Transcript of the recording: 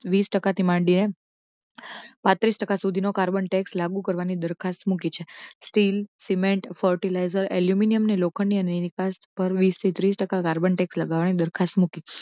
વીસ ટકા થી માડી ને માં પાત્રીસ ટકા સુધી નો કાર્બન tax લાગૂ કરવાની દરખાસ્ત મૂકી છે. સ્ટીલ, સીમેંટ, fertilizer, ઍલ્યુમિનિયમ ને લોખંડની અનેક નિકાસ પર વીસ ટકા વશેષ કાર્બન tax લગાવવા ની દરખાસ્ત મૂકી.